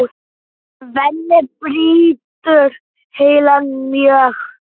Svenni brýtur heilann mjög.